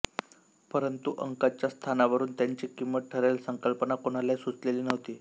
परंतु अंकाच्या स्थानावरून त्याची किंमत ठरेल ही संकल्पना कोणालाही सुचलेली नव्हती